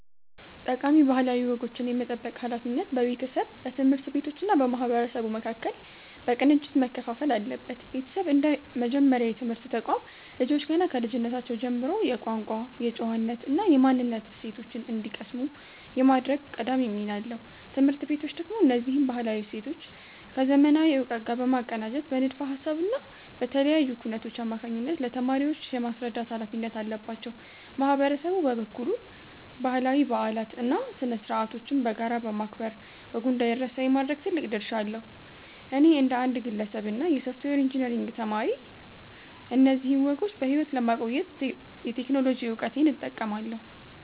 ጠቃሚ ባህላዊ ወጎችን የመጠበቅ ሃላፊነት በቤተሰብ፣ በትምህርት ቤቶች እና በማህበረሰቡ መካከል በቅንጅት መከፋፈል አለበት። ቤተሰብ እንደ መጀመሪያ የትምህርት ተቋም፣ ልጆች ገና ከልጅነታቸው ጀምሮ የቋንቋ፣ የጨዋነት እና የማንነት እሴቶችን እንዲቀስሙ የማድረግ ቀዳሚ ሚና አለው። ትምህርት ቤቶች ደግሞ እነዚህን ባህላዊ እሴቶች ከዘመናዊ እውቀት ጋር በማቀናጀት በንድፈ ሃሳብ እና በተለያዩ ኩነቶች አማካኝነት ለተማሪዎች የማስረዳት ሃላፊነት አለባቸው። ማህበረሰቡ በበኩሉ ባህላዊ በዓላትን እና ስነ-ስርዓቶችን በጋራ በማክበር ወጉ እንዳይረሳ የማድረግ ትልቅ ድርሻ አለው። እኔ እንደ አንድ ግለሰብ እና የሶፍትዌር ኢንጂነሪንግ ተማሪ፣ እነዚህን ወጎች በሕይወት ለማቆየት የቴክኖሎጂ እውቀቴን እጠቀማለሁ።